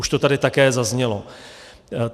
Už to tady také zaznělo.